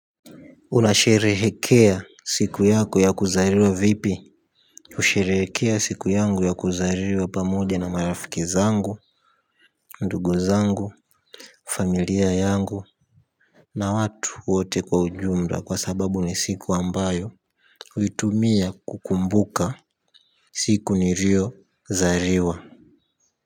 Unasherehekea siku yako ya kuzaliwa vipi husherehekea siku yangu ya kuzaliwa pamoja na marafiki zangu, ndugu zangu, familia yangu. Na watu wote kwa ujumla kwa sababu ni siku ambayo huitumia kukumbuka siku niliozaliwa.